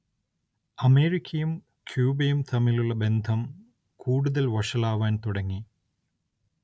അമേരിക്കയും ക്യൂബയും തമ്മിലുള്ള ബന്ധം കൂടുതൽ വഷളാവാൻ തുടങ്ങി.